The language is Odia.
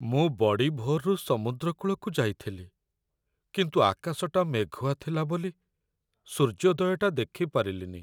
ମୁଁ ବଡ଼ିଭୋରରୁ ସମୁଦ୍ରକୂଳକୁ ଯାଇଥିଲି, କିନ୍ତୁ ଆକାଶଟା ମେଘୁଆ ଥିଲା ବୋଲି, ସୂର୍ଯ୍ୟୋଦୟଟା ଦେଖିପାରିଲିନି ।